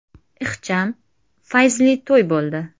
Ixcham, fayzli to‘y bo‘ldi.